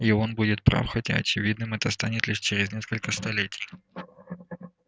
и он будет прав хотя очевидным это станет лишь через несколько столетий